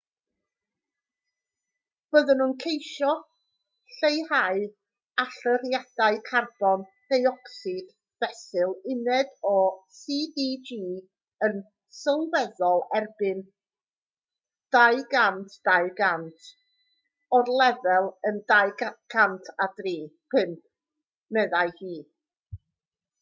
byddwn yn ceisio lleihau allyriadau carbon deuocsid fesul uned o cdg yn sylweddol erbyn 2020 o'r lefel yn 2005 meddai hu